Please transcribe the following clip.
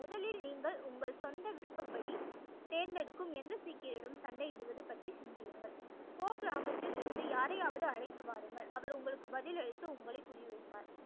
முதலில் நீங்கள் உங்கள் சொந்த விருப்பப்படி தேர்ந்துதெடுக்கும் எந்த சீக்கியரிடமும் சண்டை இடுவது பற்றி சிந்தியுங்கள் கோ கிராமத்தில் இருந்து யாரையாவது அழைத்து வாருங்கள் அவர் உங்களுக்கு பதில் அளித்து உங்களை புரிய வைப்பார்